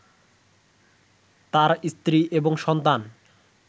তার স্ত্রী এবং সন্তান